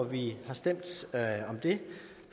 vi har stemt om det